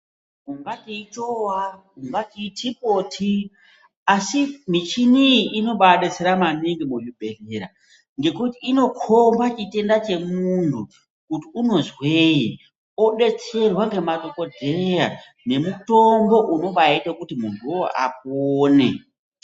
Ungati ichowa ungati itipoti asi michini iyi inobaabetsera maningi muzvibhedhlera ngekuti inokhomba chitenda chemuntu kuti unozwei odetserwa ngemadhokodheya nemutombo unobaita kuti muntu uwoo apone.